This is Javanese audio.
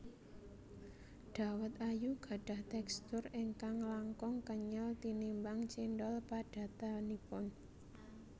Dawet ayu gadhah tekstur ingkang langkung kenyel tinimbang cendhol padatanipun